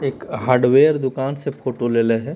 एक हार्डवेयर दुकान से फोटो लेले है।